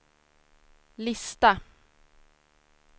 lista